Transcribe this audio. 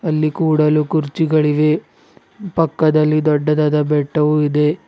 ಅಲ್ಲಿ ಕೂಡಲು ಕುರ್ಚಿಗಳಿವೆ ಪಕ್ಕದಲ್ಲಿ ದೊಡ್ಡದಾದ ಬೆಟ್ಟವು ಇದೆ.